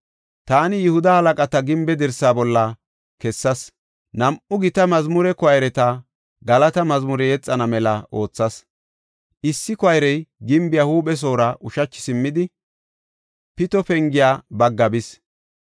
Taani Yihuda halaqata gimbe dirsaa bolla kessas. Nam7u gita mazmure koyreta galata mazmure yexana mela oothas. Issi koyrey gimbiya huuphesoora ushachi simmidi, Pito Penge bagga bis.